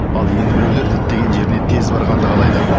ал енді біреулер діттеген жеріне тез барғанды қалайды